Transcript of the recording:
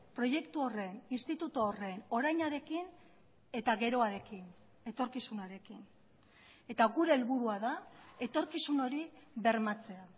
proiektu horren instituto horren orainarekin eta geroarekin etorkizunarekin eta gure helburua da etorkizun hori bermatzea